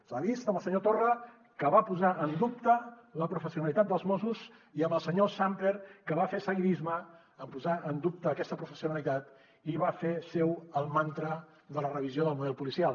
s’ha vist amb el senyor torra que va posar en dubte la professionalitat dels mossos i amb el senyor sàmper que va fer seguidisme en posar en dubte aquesta professionalitat i va fer seu el mantra de la revisió del model policial